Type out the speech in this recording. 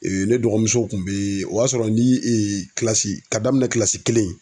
ne dɔgɔmuso kun bɛ o y'a sɔrɔ ni kilasi k'a daminɛn kilasi kelen.